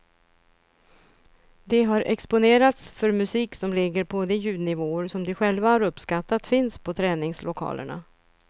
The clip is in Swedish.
De har exponerats för musik som ligger på de ljudnivåer som de själva har uppskattat finns på träningslokalerna.